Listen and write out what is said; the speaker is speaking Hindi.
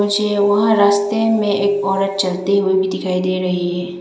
मुझे वहां रस्ते में एक औरत चलती हुई भी दिखाई दे रही हैं।